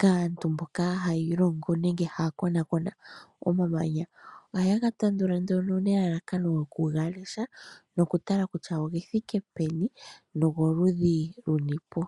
kaantu mboka hayiilongo nenge haakonaakona omamanya. Ohayega tandula nduno nelalakano lyokugalesha nokutala kutya ogethike peni nogoludhi lunipo.